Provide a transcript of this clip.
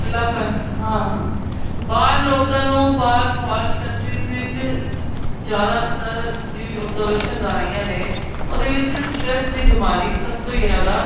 ਕੱਲਾ ਪਨ ਹਾਂ ਹਾਂ ਬਾਹਰ ਲੋਕਾ ਨੂੰ ਬਾਹਰ foreign countries ਦੇ ਵਿੱਚ ਜਿਆਦਾ ਤਰ ਜਿਵੇਂ observations ਆ ਰਹੀਆਂ ਨੇ ਉਹਦੇ ਵਿੱਚ stress ਦੀ ਬਿਮਾਰੀ ਸਭ ਤੋਂ ਜਿਆਦਾ